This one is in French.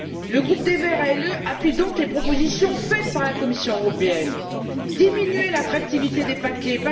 Le groupe des Verts ALE appuie donc les propositions faites par la Commission européenne diminuer l'attractivité des paquets